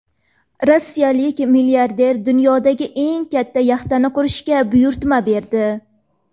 Rossiyalik milliarder dunyodagi eng katta yaxtani qurishga buyurtma berdi.